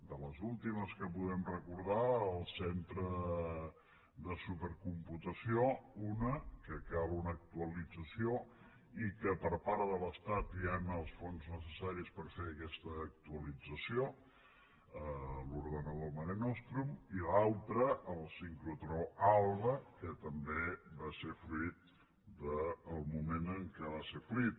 de les últimes que podem recordar el centre de supercomputació una que cal una actualització i que per part de l’estat hi han els fons necessaris per fer aquesta actualització l’ordinador marenostrum i l’altra el sincrotró alba que també va ser fruit del moment en què va ser fruit